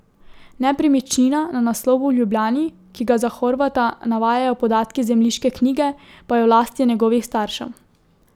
Nepremičnina na naslovu v Ljubljani, ki ga za Horvata navajajo podatki zemljiške knjige, pa je v lasti njegovih staršev.